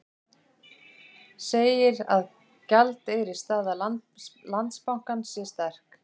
Segir að gjaldeyrisstaða Landsbankans sé sterk